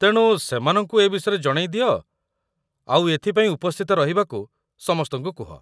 ତେଣୁ, ସେମାନଙ୍କୁ ଏ ବିଷୟରେ ଜଣେଇ ଦିଅ ଆଉ ଏଥିପାଇଁ ଉପସ୍ଥିତ ରହିବାକୁ ସମସ୍ତଙ୍କୁ କୁହ ।